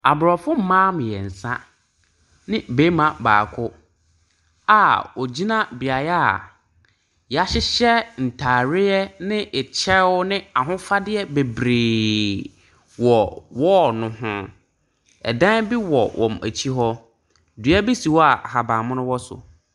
Aborɔfo mmaa mmeɛnsa ne barima baako a wɔgyina beaeɛ a wɔahyehyɛ ntareɛ ne kyɛw ne ahofadeɛ bebree wɔ wall no ho. Dan bi wɔ wɔn akyi hɔ. Dua bi si hɔ a ahaban mono wɔ so.